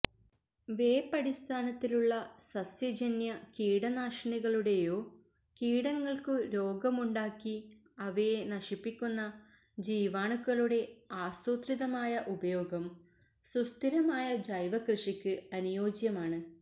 വേപ്പടിസ്ഥാനത്തിലുള്ള സസ്യജന്യ കീടനാശിനികളുടെയോ കീടങ്ങള്ക്കു രോഗമുണ്ടാക്കി അവയെ നശിപ്പിക്കുന്ന ജീവാണുക്കളുടെ ആസൂത്രിതമായ ഉപയോഗം സുസ്ഥിരമായ ജൈവകൃഷിക്ക് അനുയോജ്യമാണ്